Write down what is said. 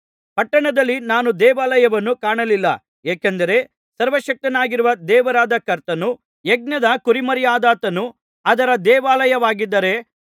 ಪಟ್ಟಣದಲ್ಲಿ ನಾನು ದೇವಾಲಯವನ್ನು ಕಾಣಲಿಲ್ಲ ಏಕೆಂದರೆ ಸರ್ವಶಕ್ತನಾಗಿರುವ ದೇವರಾದ ಕರ್ತನೂ ಯಜ್ಞದ ಕುರಿಮರಿಯಾದಾತನೂ ಅದರ ದೇವಾಲಯವಾಗಿದ್ದಾರೆ